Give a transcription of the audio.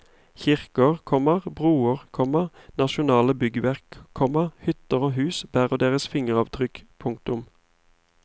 Kirker, komma broer, komma nasjonale byggverk, komma hytter og hus bærer deres fingeravtrykk. punktum